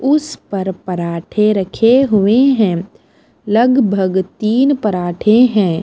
उस पर पराठे रखे हुए हैं लगभग तीन पराठे हैं।